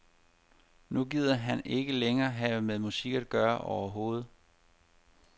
Nu gider han ikke længere have med musik at gøre overhovedet.